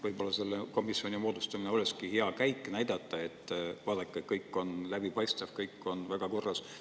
Võib-olla selle komisjoni moodustamine oleks hea käik näidata, et vaadake, kõik on läbipaistev, kõik on väga korras.